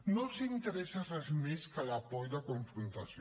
no els interessa res més que la por i la confrontació